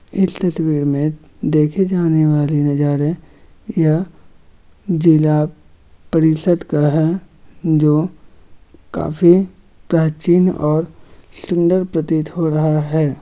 इस तस्वीर मे देखि जाने वाली नजारे यह जिला परिषद का है जो काफी प्राचीन ओर सुंदर प्रतीत हो रहा है।